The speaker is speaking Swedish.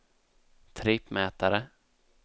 trippmätare